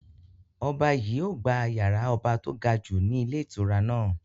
Ọba yìí ó gbà yàrá ọba to gajù ni ilé ìtura náà.